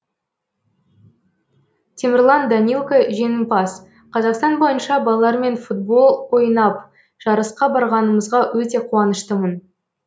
темірлан данилко жеңімпаз қазақстан бойынша балалармен футбол ойнап жарысқа барғанымызға өте қуаныштымын